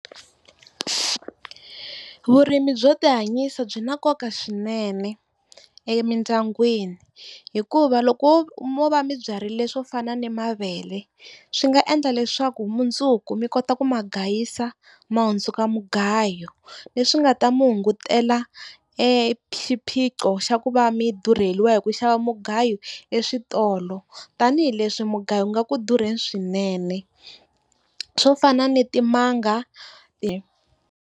Vurimi byo tihanyisa byi na nkoka swinene emindyangwini hikuva loko mo va mi byarile swo fana na mavele swi nga endla leswaku mundzuku mi kota ku ma gayisa ma hundzuka mugayo leswi nga ta mi hungutela exiphiqo xa ku va mi durheliwa hi ku xava mugayo eswitolo tanihileswi mugayo u nga ku durheni swinene. Swo fana ni timanga .